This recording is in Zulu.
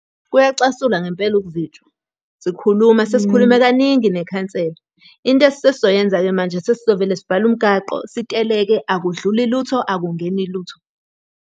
Kuyacasula ngempela ukuzitshwa. Sikhuluma sesikhulume kaningi nekhansela. Into esesizoyenza-ke manje, sesizovele sivale umgaqo siteleke, akudluli lutho, akungeni lutho.